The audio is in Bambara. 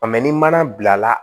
ni mana bila